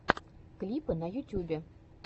клипы на ютюбе